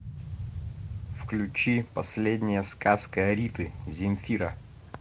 включи последняя сказка риты земфира